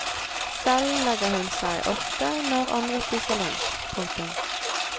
Selv legger hun seg ofte når andre spiser lunsj. punktum